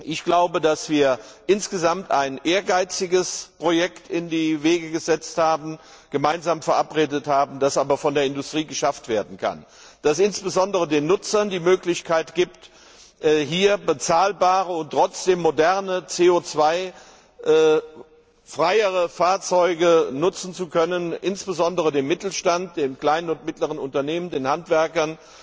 Ich glaube, dass wir insgesamt ein ehrgeiziges Projekt in die Wege geleitet haben, das von der Industrie jedoch geschafft werden kann und das insbesondere den Nutzern die Möglichkeit gibt, bezahlbare und trotzdem moderne, CO freiere Fahrzeuge nutzen zu können, insbesondere dem Mittelstand, den kleinen und mittleren Unternehmen, den Handwerkern,